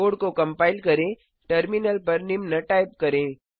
code को compile करें terminal पर निम्न टाइप करें